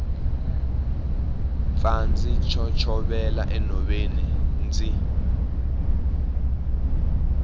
pfa ndzi chochovela enhoveni ndzi